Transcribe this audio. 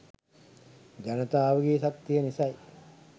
ජනතාවගේ ශක්තිය නිසයි.